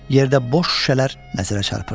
Yerdə boş şüşələr nəzərə çarpırdı.